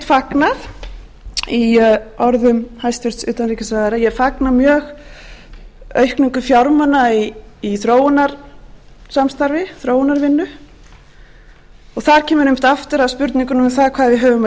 saknað í orðum hæstvirts utanríkisráðherra ég fagna mjög aukningu fjármuna í þróunarsamstarfi þróunarvinnu og þar kemur auðvitað aftur að spurningunni um það hvað við höfum að gefa